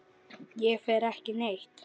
Ég fer ekki neitt.